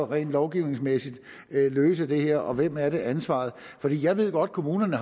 rent lovgivningsmæssigt kan løse det her og hvem er det ansvaret for jeg ved godt at kommunerne